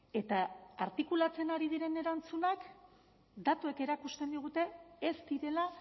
eta artikulatzen ari diren erantzunak datuek erakusten digute ez direla